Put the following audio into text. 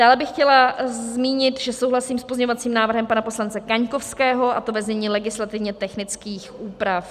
Dále bych chtěla zmínit, že souhlasím s pozměňovacím návrhem pana poslance Kaňkovského, a to ve znění legislativně technických úprav.